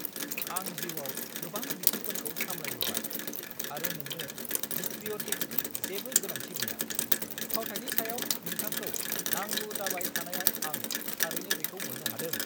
आं जिउआव गोबां बिथिंफोरखौ सामलायबोबाय आरो नोंनो हिस्ट्रिय'निक्सनि जेबो गोनांथि गैया। फावथाइनि सायाव नोंथांखौ नांगौ जाबाय थानायाव आं थारैनो बेखौ मोननो हादों!